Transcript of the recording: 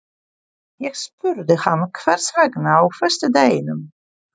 Ég spurði hann hvers vegna á föstudeginum?